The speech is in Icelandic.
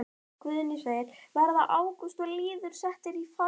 Guðný: Verða Ágúst og Lýður settir í farbann?